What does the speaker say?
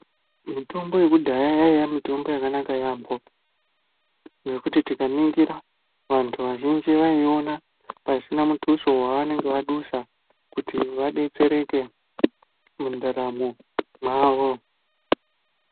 Mitombo yekudhaya yaiya mitombo yakanaka yaambo ngekuti tikaningira vantu vazhinji vayiiona pasina mutuso wevanenge vadusa kuti vadetsereke mundaramo mwavo.